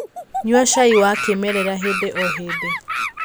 nyua cai wa kĩmerera hĩndĩ o hĩndĩ